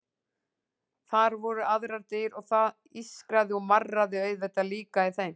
Þar voru aðrar dyr og það ískraði og marraði auðvitað líka í þeim.